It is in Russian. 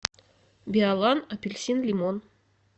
биолан апельсин лимон